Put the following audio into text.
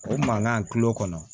O mankan kilo kɔnɔ